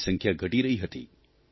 તેમની સંખ્યા ઘટી રહી હતી